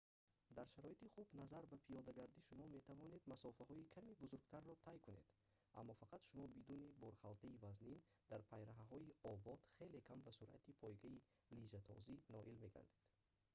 дар шароити хуб назар ба пиёдагардӣ шумо метавонед масофаҳои каме бузургтарро тай кунед аммо фақат шумо бидуни борхалтаи вазнин дар пайраҳаҳои обод хеле кам ба суръати пойгаи лижатозӣ ноил мегардед